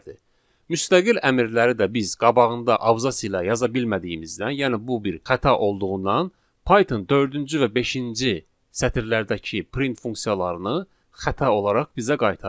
Müstəqil əmrləri də biz qabağında abzası ilə yaza bilmədiyimizdən, yəni bu bir xəta olduğundan Python dördüncü və beşinci sətirlərdəki print funksiyalarını xəta olaraq bizə qaytarır.